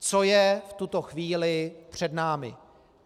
Co je v tuto chvíli před námi?